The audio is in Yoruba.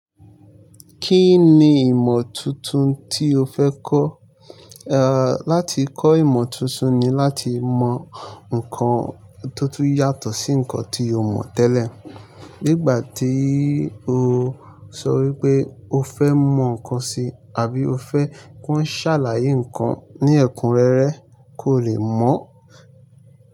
Kí ni ìmọ̀ tuntun tí o fẹ́ kọ́? À, láti kọ́ ìmọ̀ tuntun ni láti mọ nǹkan tó tún yàtọ̀ sí nǹkan tí o mọ̀ tẹ́lẹ̀. Nígbà tí o sọ wípé o fẹ́ mọ ǹkan si àbí o fẹ́ kí wọ́n ṣàlàyé ǹkan ní ẹ̀kúnrẹ́rẹ́, kó le mọ̀- ọ́n.